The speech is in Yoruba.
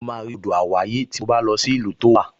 Mo máa rí odò àwáyè tí mo bá lọ sí ìlú tó wà